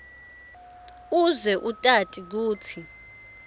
uze utati kutsi